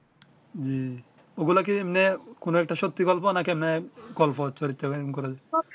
জ্বি ঐ গুলা কি ম্যা কোন একটি সত্যি গল্প না কি আপনার গল্প চরিত্র এই করে যে